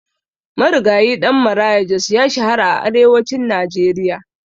Marigayi Ɗan Maraya Jos ya shahara a arewacin Najeriya.